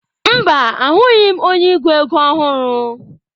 Mba, ahụghị m onye ego ego ọhụrụ.